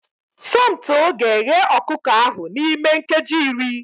Somto ga-eghe ọkụkọ ahụ n'ime nkeji iri